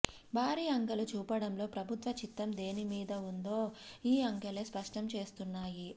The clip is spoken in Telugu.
భారీ అంకెలు చూపడంలో ప్రభుత్వ చిత్తం దేనిమీద ఉందో ఈ అంకెలే స్పష్టం చేస్తున్నాయి